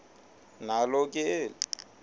nalo ke eli